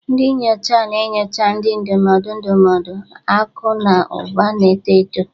Ndị nyocha na-enyocha, ndị ndụmọdụ ndụmọdụ, akụ na ụba na-eto eto.